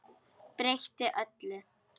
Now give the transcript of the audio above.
Breytti öllu.